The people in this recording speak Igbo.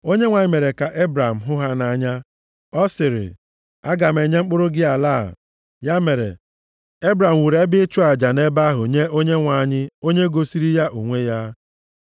Onyenwe anyị mere ka Ebram hụ ya anya, ọ sịrị, “Aga m enye mkpụrụ gị ala a.” Ya mere, Ebram wuru ebe ịchụ aja nʼebe ahụ nye Onyenwe anyị onye gosiri ya onwe ya.